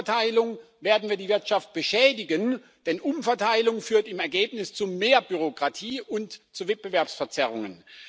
Durch Umverteilung werden wir die Wirtschaft beschädigen, denn Umverteilung führt im Ergebnis zu mehr Bürokratie und zu Wettbewerbsverzerrungen.